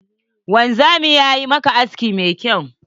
Wanzamin yayi maka aski mai kyau?